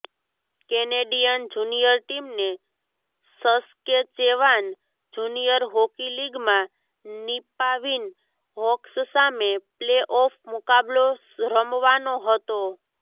Canadian junior ટીમને Saskatchewan junior hockey લીગમાં Nipawin Hawks સામે પ્લેઓફ મુકાબલો રમવાનો હતો